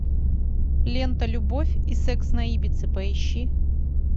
лента любовь и секс на ибице поищи